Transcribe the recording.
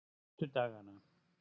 fimmtudagana